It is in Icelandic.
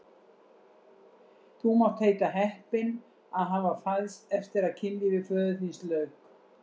Þú mátt heita heppinn að hafa fæðst eftir að kynlífi föður þíns lauk!